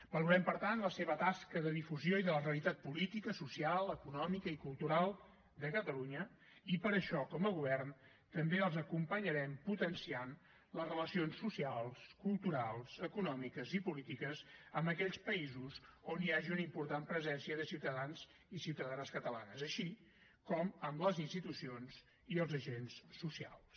valorem per tant la seva tasca de difusió i de la realitat política social econòmica i cultural de catalunya i per això com a govern també els acompanyarem potenciant les relacions socials culturals econòmiques i polítiques amb aquells països on hi hagi una important presència de ciutadans i ciutadanes catalanes així com amb les institucions i els agents socials